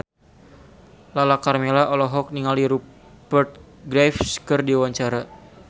Lala Karmela olohok ningali Rupert Graves keur diwawancara